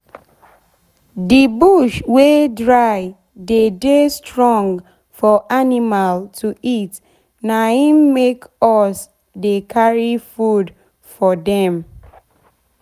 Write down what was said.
d bush wey dry dey dey strong for animal to eat na im make us dey carry food for dem.